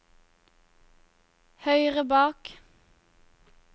høyre bak